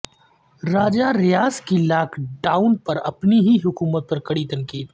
راجہ ریاض کی lockdown پر اپنی ہی حکومت پر کڑی تنقید